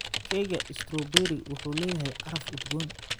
Keega strawberry wuxuu leeyahay caraf udgoon.